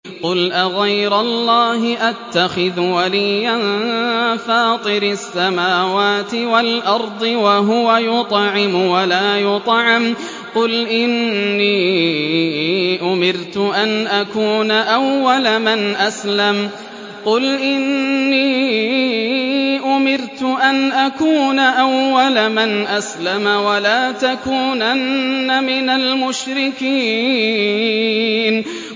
قُلْ أَغَيْرَ اللَّهِ أَتَّخِذُ وَلِيًّا فَاطِرِ السَّمَاوَاتِ وَالْأَرْضِ وَهُوَ يُطْعِمُ وَلَا يُطْعَمُ ۗ قُلْ إِنِّي أُمِرْتُ أَنْ أَكُونَ أَوَّلَ مَنْ أَسْلَمَ ۖ وَلَا تَكُونَنَّ مِنَ الْمُشْرِكِينَ